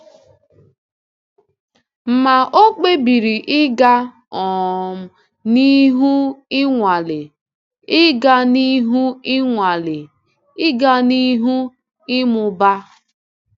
Ma ọ kpebiri ịga um n’ihu ịnwale, ịga n’ihu ịnwale, ịga n’ihu ịmụba.